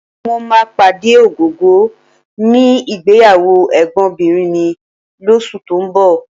Mo máa pàdé Ògògó níbi ìgbéyàwó ẹ̀gbọ́nbìnrin mi lóṣù tó ń bọ̀